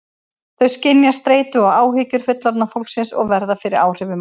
Þau skynja streitu og áhyggjur fullorðna fólksins og verða fyrir áhrifum af því.